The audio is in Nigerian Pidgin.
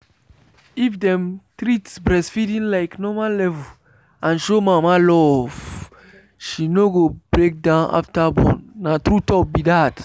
if dem treat breastfeeding like normal levels and show mama love she no go break down after born. na true talk be that.